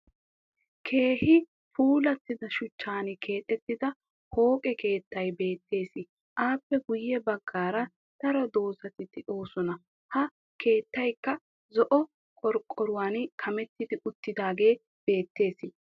Keehi puulattida shuchchan keexettida pooqe keettay beettes. Aappe guyye baggaara daro dozzati de'oosona. Ha keettayikka zo'o qorqqoruwan kametti uttiidaagee beettes.